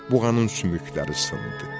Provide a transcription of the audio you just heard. Buğanın sümükləri sındı.